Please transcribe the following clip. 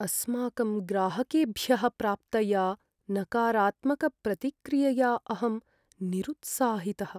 अस्माकं ग्राहकेभ्यः प्राप्तया नकारात्मकप्रतिक्रियया अहं निरुत्साहितः।